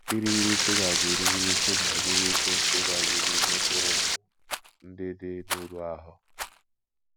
irighiri shuga bụ́ irighiri shuga bụ́ glucose banye n’ime mkpụrụ ndụ ndị dị n’uru ahụ́